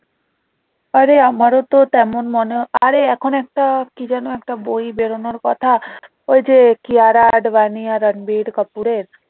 আরে আমারতো তেমন মনে আরে এখন একটা কি যেন একটা বই বেরোনোর কথা ওই যে কিয়ারা আদভানি আর রণভীর কাপুরের